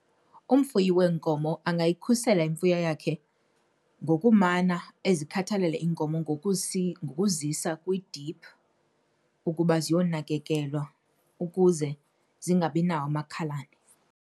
Umfuyi weenkomo angayikhusela imfuyo yakhe ngokumana ezikhathalela iinkomo ngokuzisa kwidiphu ukuba ziyonakekelwa ukuze zingabinawo amakhalane.